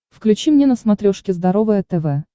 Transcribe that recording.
включи мне на смотрешке здоровое тв